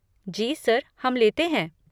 जी sir, हम लेते हैं।